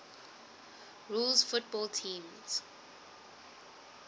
rules football teams